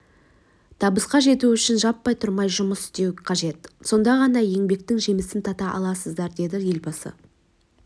табысқа жету үшін жатпай-тұрмай жұмыс істеу қажет сонда ғана еңбектің жемісін тата аласыздар деді елбасы